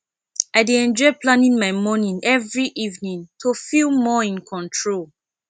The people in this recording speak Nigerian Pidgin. i dey enjoy planning my morning every evening to feel more in control